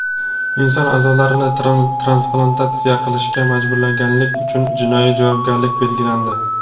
Inson a’zolarini transplantatsiya qilishga majburlaganlik uchun jinoiy javobgarlik belgilandi.